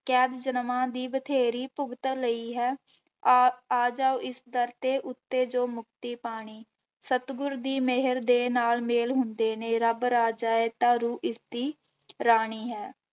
ਕੈਦ ਜਨਮਾਂ ਦੀ ਬਥੇਰੀ ਭੁਗਤ ਲਈ ਹੈ ਆ ਆ ਜਾਓ ਇਸ ਦਰ ਦੇ ਉੱਤੇ ਜੋ ਮੁਕਤੀ ਪਾਣੀ, ਸਤਿਗੁਰ ਦੀ ਮਿਹਰ ਦੇ ਨਾਲ ਮੇਲ ਹੁੰਦੇ ਨੇ, ਰੱਬ ਰਾਜਾ ਹੈ ਤਾਂ ਰੂਹ ਇਸਦੀ ਰਾਣੀ ਹੈ।